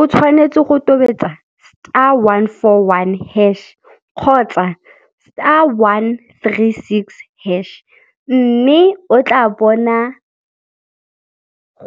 O tshwanetse go tobetsa star one for one hash kgotsa star one three six hash mme o tla bona